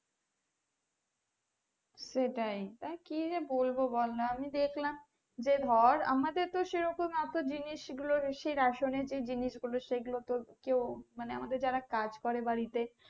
সেটাই আর কি যে বলবো বল না আমি দেখলাম যে ধর আমাদের তো সেরকম এত জিনিস গুলো ration এ তো জিনিস গুলো তো কেও মানে আমাদের যারা কাজ করে বাড়িতে